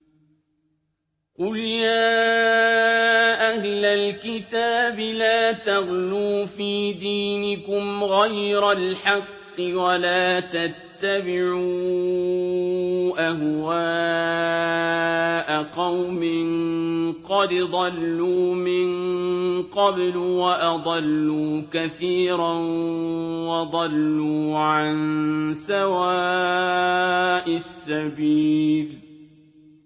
قُلْ يَا أَهْلَ الْكِتَابِ لَا تَغْلُوا فِي دِينِكُمْ غَيْرَ الْحَقِّ وَلَا تَتَّبِعُوا أَهْوَاءَ قَوْمٍ قَدْ ضَلُّوا مِن قَبْلُ وَأَضَلُّوا كَثِيرًا وَضَلُّوا عَن سَوَاءِ السَّبِيلِ